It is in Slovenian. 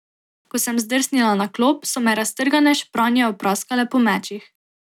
Ko sem zdrsnila na klop, so me raztrgane špranje opraskale po mečih.